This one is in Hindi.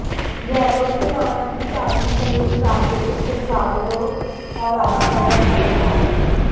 गहलोत ने माना कि चांदी सहित प्राकृतिक संसाधनों का राजस्थान में अच्छा भंडार है